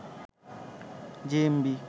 JMB